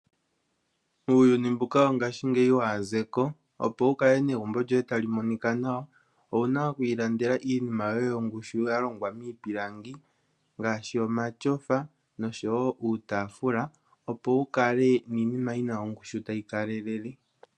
Uuyuni mbuka wongashingeyi waazeko, opo wukale negumbe lyoye tali monika nawa owunaa okwiilandela iinima yoye yongushu yalongwa miipilangi ngaashi omatyofa osho woo utaafula opo wukale niinima yina ongushu tayikalelele